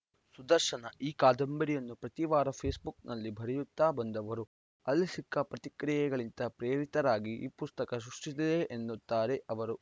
ಸುದರ್ಶನ ಈ ಕಾದಂಬರಿಯನ್ನು ಪ್ರತಿವಾರ ಫೇಸ್‌ಬುಕ್ಕಲ್ಲಿ ಬರೆಯುತ್ತಾ ಬಂದವರು ಅಲ್ಲಿ ಸಿಕ್ಕ ಪ್ರತಿಕ್ರಿಯೆಗಳಿಂದ ಪ್ರೇರಿತರಾಗಿ ಈ ಪುಸ್ತಕ ಸೃಷ್ಟಿಸಿದೆ ಅನ್ನುತ್ತಾರೆ ಅವರು